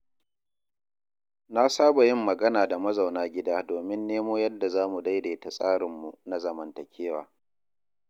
Na saba yin magana da mazauna gida domin nemo yadda zamu daidaita tsarinmu na zamantakewa.